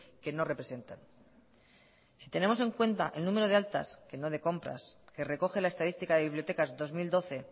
que no representan si tenemos en cuenta el número de altas que no de compras que recoge la estadística de bibliotecas dos mil doce